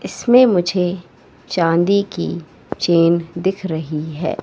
इसमें मुझे चांदी की चैन दिख रही है।